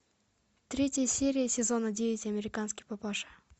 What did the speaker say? третья серия сезона девять американский папаша